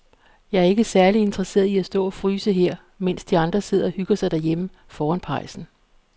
Jeg er ikke særlig interesseret i at stå og fryse her, mens de andre sidder og hygger sig derhjemme foran pejsen.